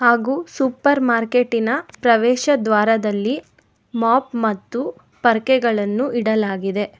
ಹಾಗೂ ಸೂಪರ್ ಮಾರ್ಕೆಟಿನ ಪ್ರವೇಶ ದ್ವಾರದಲ್ಲಿ ಮಾಪ್ ಮತ್ತು ಪರ್ಕೆಗಳನ್ನು ಇಡಲಾಗಿದೆ.